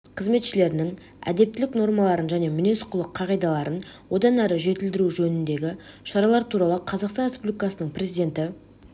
қызметшілерінің әдептілік нормаларын және мінез-құлық қағидаларын одан әрі жетілдіру жөніндегі шаралар туралы қазақстан республикасы президентінің